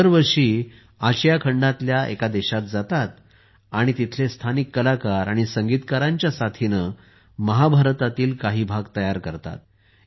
ते दरवर्षी आशिया खंडातील एका देशात जातात आणि तेथील स्थानिक कलाकार आणि संगीतकारांच्या साथीने महाभारतातील काही भाग तयार करतात